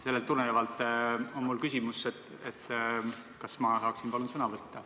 Sellest tulenevalt on mul küsimus, et kas ma saaksin palun sõna võtta.